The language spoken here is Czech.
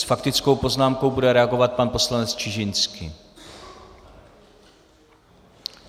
S faktickou poznámkou bude reagovat pan poslanec Čižinský.